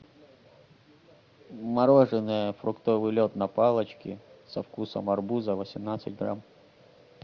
мороженное фруктовый лед на палочке со вкусом арбуза восемнадцать грамм